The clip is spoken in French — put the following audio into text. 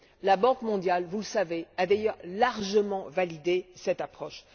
La Banque mondiale, vous le savez, a d'ailleurs largement validé cette approche.